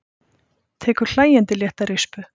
Tekur hlæjandi létta rispu.